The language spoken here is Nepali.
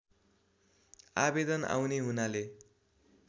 आवेदन आउने हुनाले